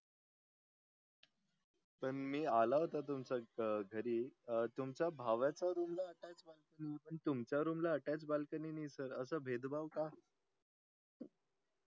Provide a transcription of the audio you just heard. पण मी आला होता तुमचा अं घरी अं तुमच्या भावाच्या room ला attached बालकनी sir तुमच्या room ला attached बालकनी नाही sir असा भेदभाव का